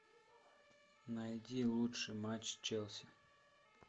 найди лучший матч челси